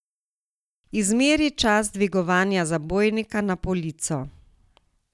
Izmeri čas dvigovanja zabojnika na polico.